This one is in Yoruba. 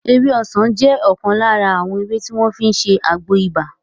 Ewé ọsàn jẹ́ ọ̀kan lára àwọn ewé tí wọ́n fi ń ṣe àgbo ibà